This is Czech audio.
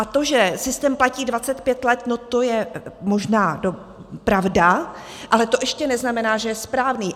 A to, že systém platí 25 let, no, to je možná pravda, ale to ještě neznamená, že je správný.